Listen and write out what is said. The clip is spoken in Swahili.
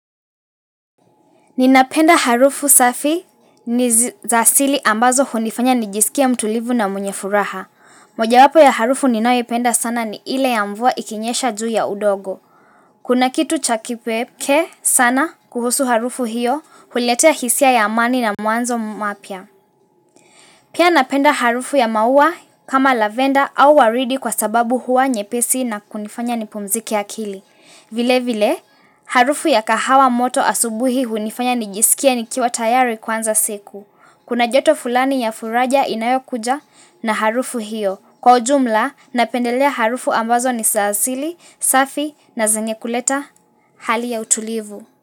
Ninapenda harufu safi ni zasili ambazo hunifanya nijisikia mtulivu na mwenye furaha. Moja wapo ya harufu ninayo penda sana ni ile ya mvua ikinyesha juu ya udogo. Kuna kitu chaki peke sana kuhusu harufu hiyo huletea hisia ya amani na muanzo mapia. Pia napenda harufu ya mauwa kama lavenda au waridi kwa sababu hua nyepesi na kunifanya nipumzike akili. Vile vile harufu ya kahawa moto asubuhi hunifanya nijisikie nikiwa tayari kwanza siku. Kuna joto fulani ya furaja inayo kuja na harufu hiyo. Kwa ujumla napendelea harufu ambazo nisa asili, safi na zenye kuleta hali ya utulivu.